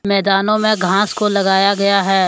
मैदानों में घास को लगाया गया है।